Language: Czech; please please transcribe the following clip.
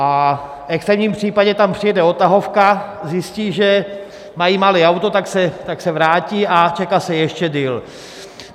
V extrémním případě tam přijede odtahovka, zjistí, že mají malé auto, tak se vrátí a čeká se ještě déle.